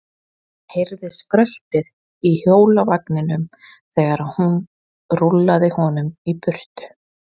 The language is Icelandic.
Hann heyrði skröltið í hjólavagninum þegar hún rúllaði honum í burtu.